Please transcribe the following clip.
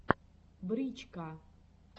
брич ка